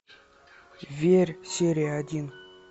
верь серия один